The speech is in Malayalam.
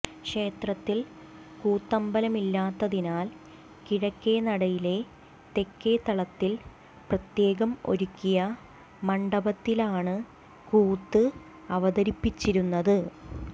ക്ഷേത്രത്തിൽ കൂത്തമ്പലമില്ലാത്തതിനാൽ കിഴക്കേ നടയിലെ തെക്കേത്തളത്തിൽ പ്രത്യേകം ഒരുക്കിയ മണ്ഡപത്തിലാണ് കൂത്ത് അവതരിപ്പിച്ചിരുന്നത്